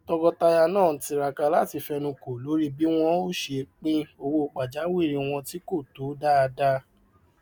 tọkọtaya náà ń tiraka láti fẹnukò lórí bí wọn ó ṣe pín owó pajawiri wọn tí kò tó dáadáa